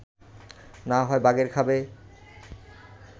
না হয় বাঘে খাবে